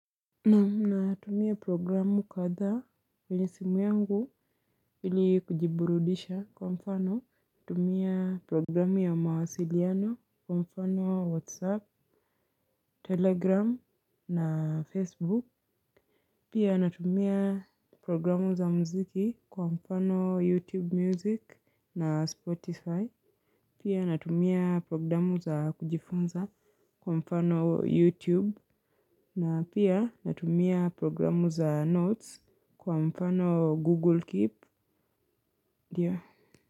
Natumia programu katha kwenye simu yangu ili kujiburudisha kwa mfano. Natumia programu ya mawasiliano kwa mfano Whatsapp, Telegram na Facebook. Pia natumia programu za mziki kwa mfano YouTube Music na Spotify. Pia natumia programu za kujifunza kwa mfano YouTube. Na pia natumia programu za notes kwa mfano Google Keep.